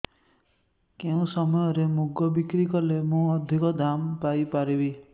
କେଉଁ ସମୟରେ ମୁଗ ବିକ୍ରି କଲେ ମୁଁ ଅଧିକ ଦାମ୍ ପାଇ ପାରିବି